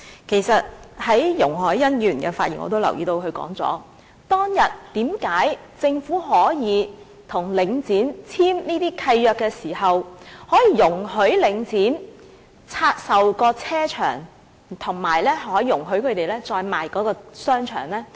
其實從容海恩議員的發言中我已經留意到，她問當日為何政府在與領匯簽定這些契約時，可以容許領匯拆售停車場和再出售商場？